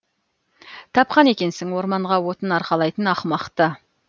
тапқан екенсің орманға отын арқалайтын ақымақты